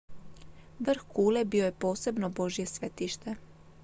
vrh kule bio je posebno božje svetište